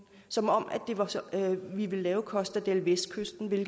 som om vi ville lave costa del vestkysten hvilket